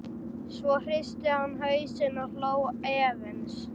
Svo hristi hann hausinn og hló efins.